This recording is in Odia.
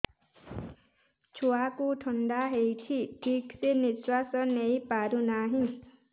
ଛୁଆକୁ ଥଣ୍ଡା ହେଇଛି ଠିକ ସେ ନିଶ୍ୱାସ ନେଇ ପାରୁ ନାହିଁ